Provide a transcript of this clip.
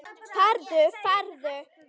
Farðu, farðu.